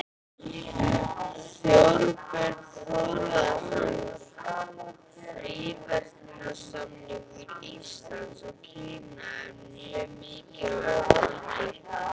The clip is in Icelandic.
Þorbjörn Þórðarson: Fríverslunarsamningur Íslands og Kína er mjög mikilvægur þáttur?